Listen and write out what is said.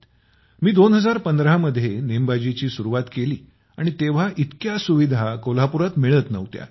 मी २०१५ मध्ये नेमबाजीची सुरूवात केली आणि तेव्हा इतक्या सुविधा कोल्हापुरात मिळत नव्हत्या